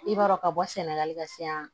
I b'a dɔn ka bɔ sɛnɛgali ka se yan